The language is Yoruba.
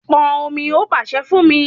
Pọn omi, ó pàṣẹ fún mí